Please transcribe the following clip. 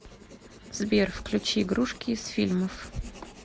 сбер включи игрушки из фильмов